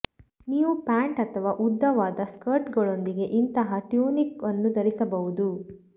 ನೀವು ಪ್ಯಾಂಟ್ ಅಥವಾ ಉದ್ದವಾದ ಸ್ಕರ್ಟ್ಗಳೊಂದಿಗೆ ಇಂತಹ ಟ್ಯೂನಿಕ್ ಅನ್ನು ಧರಿಸಬಹುದು